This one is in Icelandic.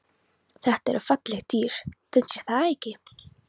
Þetta eru falleg dýr, finnst þér ekki?